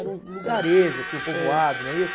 Era um lugarejo assim, um povoado, não é isso?